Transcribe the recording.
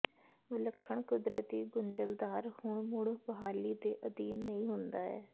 ਵਿਲੱਖਣ ਕੁਦਰਤੀ ਗੁੰਝਲਦਾਰ ਹੁਣ ਮੁੜ ਬਹਾਲੀ ਦੇ ਅਧੀਨ ਨਹੀਂ ਹੁੰਦਾ ਹੈ